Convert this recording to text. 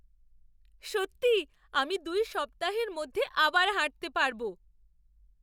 সত্যিই আমি দুই সপ্তাহের মধ্যে আবার হাঁটতে পারব!